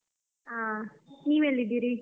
ಆ ನೀವ್ ಎಲ್ಲಿದ್ದೀರಿ?